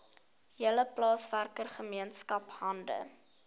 hele plaaswerkergemeenskap hande